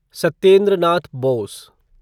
Satyendra Nath Bose